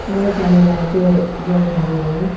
बहुत सारी लाइटें जल रही है।